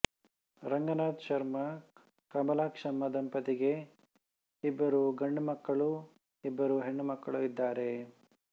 ರಂಗನಾಥ ಶರ್ಮಕಮಲಾಕ್ಷಮ್ಮ ದಂಪತಿಗೆ ಇಬ್ಬರು ಗಂಡು ಮಕ್ಕಳೂ ಇಬ್ಬರು ಹೆಣ್ಣುಮಕ್ಕಳೂ ಇದ್ದಾರೆ